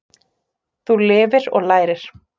Þú lifir og lærir.